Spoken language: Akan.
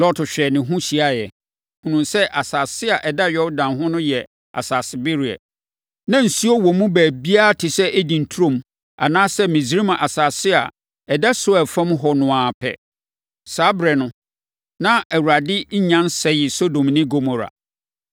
Lot hwɛɛ ne ho hyiaeɛ, hunuu sɛ asase a ɛda Yordan ho no yɛ asasebereɛ. Na nsuo wɔ mu baabiara te sɛ Eden turom anaasɛ Misraim asase a ɛda Soar fam hɔ no ara pɛ. Saa ɛberɛ no, na Awurade nnya nsɛee Sodom ne Gomora.